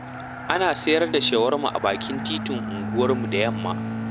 A na sayar da shawarma a bakin titin unguwarmu da yamma